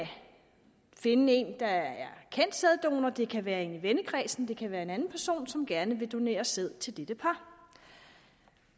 finde en der er kendt sæddonor det kan være en i vennekredsen det kan være en anden person som gerne vil donere sæd til dette par